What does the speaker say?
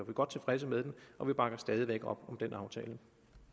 godt tilfredse med den og vi bakker stadig væk op om den aftale